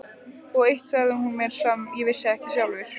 Og eitt sagði hún mér sem ég vissi ekki sjálfur.